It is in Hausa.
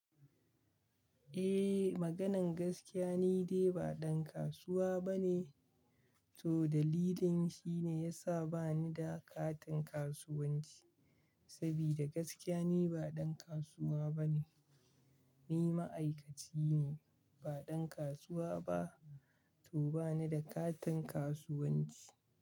Eh, maganan gaskiya ni dai ba ɗan kasuwa bane to dalilin shi ne yasa bani da katin kasuwanci. Sabida gaskiya ni ba ɗan kasuwa bane. Ni ma'aikaci ne ba ɗan kasuwa ba to bani da katin kasuwanci.